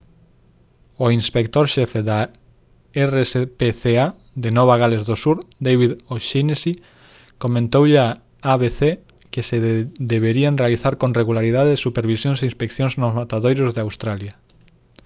o inspector xefe do rspca de nova gales do sur david o'shannessy comentoulle a abc que se deberían realizar con regularidade supervisións e inspeccións nos matadoiros en australia